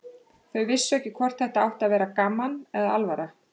Þau vissu ekki hvort þetta átti að vera gaman eða alvara.